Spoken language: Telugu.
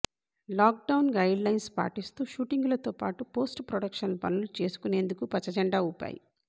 లాక్ డౌన్ గైడ్ లైన్స్ పాటిస్తూ షూటింగులతో పాటు పోస్ట్ ప్రొడక్షన్ పనులు చేసుకునేందుకు పచ్చ జెండా ఊపాయి